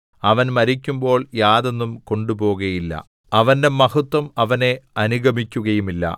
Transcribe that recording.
അവൻ മരിക്കുമ്പോൾ യാതൊന്നും കൊണ്ടുപോകുകയില്ല അവന്റെ മഹത്വം അവനെ അനുഗമിക്കുകയുമില്ല